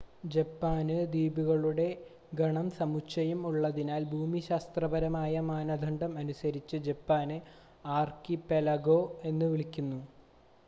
"ജപ്പാന് ദ്വീപുകളുടെ ഗണം/സമുച്ചയം ഉള്ളതിനാൽ ഭൂമിശാസ്ത്രപരമായ മാനദണ്ഡം അനുസരിച്ച് ജപ്പാനെ "ആർകിപെലഗൊ" എന്ന് വിളിക്കുന്നു.